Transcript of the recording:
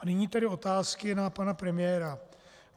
A nyní tedy otázky na pana premiéra.